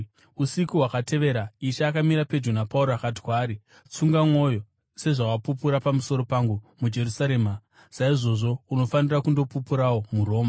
Usiku hwakatevera, Ishe akamira pedyo naPauro akati kwaari, “Tsunga mwoyo! Sezvawapupura pamusoro pangu muJerusarema, saizvozvo unofanira kundopupurawo muRoma.”